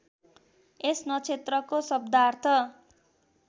यस नक्षत्रको शब्दार्थ